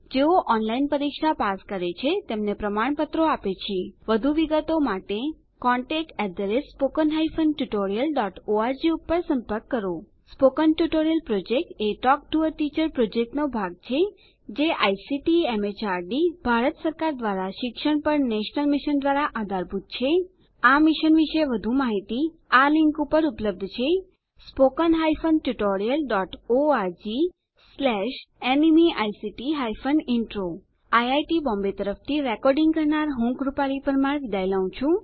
જેઓ ઓનલાઇન પરીક્ષા પાસ કરે છે તેમને પ્રમાણપત્રો આપે છે વધુ વિગતો માટે contactspoken tutorialorg ઉપર સંપર્ક કરો spoken tutorial project talk to a teacher પ્રોજેક્ટનો ભાગ છે જે આઇસીટી એમએચઆરડી ભારત સરકાર દ્વારા શિક્ષણ પર નેશનલ મિશન દ્વારા આધારભૂત છે આ મિશન વિશે વધુ માહીતી આ લીંક ઉપર ઉપલબ્ધ છે spoken hyphen tutorial dot org slash nmeict hyphen intro IIT Bombay તરફથી ભાષાંતર કરનાર હું કૃપાલી પરમાર વિદાય લઉં છું